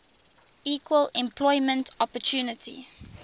equal employment opportunity